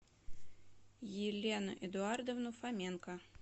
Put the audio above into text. елену эдуардовну фоменко